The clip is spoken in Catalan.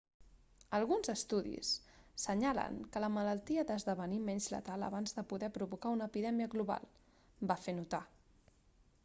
alguns estudis senyalen que la malaltia ha d'esdevenir menys letal abans de poder provocar una epidèmia global va fer notar